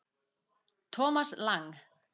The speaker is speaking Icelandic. Thomas Lang